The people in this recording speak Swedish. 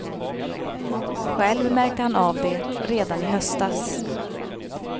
Själv märkte han av det redan i höstas.